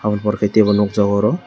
abo ni pore ke nugjaago oro--